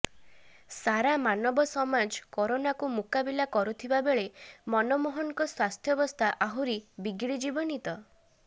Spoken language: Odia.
ସାରା ମାନବ ସମାଜ କରୋନାକୁ ମୁକାବିଲା କରୁଥିବା ବେଳେ ମନମୋହନଙ୍କ ସ୍ୱାସ୍ଥ୍ୟବସ୍ଥା ଆହୁରି ବିଗିଡି ଯିବନି ତ